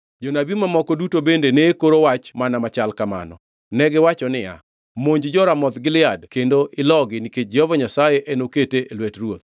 Jonabi mamoko duto bende ne koro wach mana machal kamano. Negiwacho niya, “Monj jo-Ramoth Gilead kendo ilogi nikech Jehova Nyasaye enokete e lwet ruoth.”